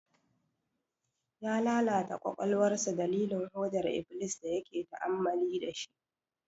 Ya lalata kwakwalwarsa dalilin hodar iblis da yake ta'amali da shi.